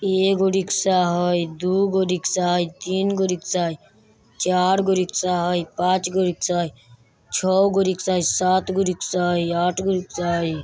एगो रिक्सा हई दुगो रिक्शा हई तिनगो रिक्शा हई चारगो रिक्शा हई पाँचगो रिक्शा हई छगों रिक्शा हई सातगो रिक्शा हई आठगो रिक्शा हई।